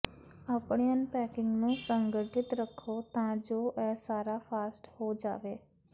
ਆਪਣੇ ਅਨਪੈਕਿੰਗ ਨੂੰ ਸੰਗਠਿਤ ਰੱਖੋ ਤਾਂ ਜੋ ਇਹ ਸਾਰਾ ਫਾਸਟ ਹੋ ਜਾਵੇ